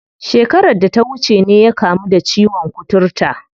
Shekarar da ta wuce ne ya kamu da ciwon kuturta.